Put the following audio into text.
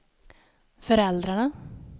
föräldrarna